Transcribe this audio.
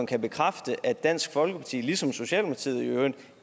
kan bekræfte at dansk folkeparti ligesom socialdemokratiet i øvrigt